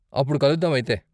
అప్పుడు కలుద్దాం అయితే.